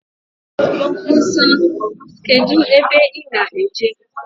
Musa, kedu ebe I ná-eje?